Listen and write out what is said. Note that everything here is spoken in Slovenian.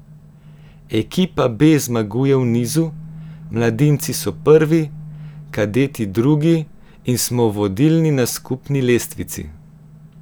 Ekipa B zmaguje v nizu, mladinci so prvi, kadeti drugi in smo vodilni na skupni lestvici.